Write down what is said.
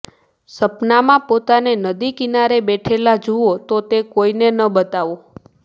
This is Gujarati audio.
સપનામાં પોતાને નદી કિનારે બેઠેલા જુવો તો તે કોઈને ન બતાવો